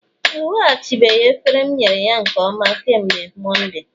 o nweghachibeghị efere m nyere ya nke ọma kemgbe Mọnde